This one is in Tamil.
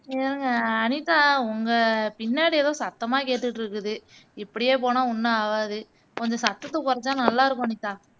இருங்க அனிதா உங்க பின்னாடி ஏதோ சத்தமா கேட்டுட்டுருக்குது இப்படியே போனா ஒன்னும் ஆவாது கொஞ்சம் சத்தத்தை குறைச்சா நல்லா இருக்கும் அனிதா